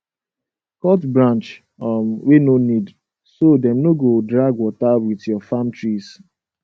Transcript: cut branch um wey no need so dem no go drag water with your farm trees